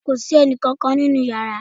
Kò sí ẹnì kankan nínú yàrá